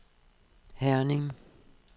Herning